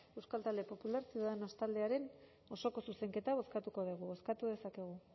euskal talde popular ciudadanos taldearen osoko zuzenketa bozkatuko dugu bozkatu dezakegu